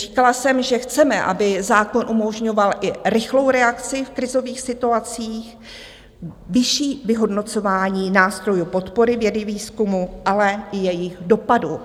Říkala jsem, že chceme, aby zákon umožňoval i rychlou reakci v krizových situacích, vyšší vyhodnocování nástrojů podpory vědy, výzkumu, ale i jejich dopadu.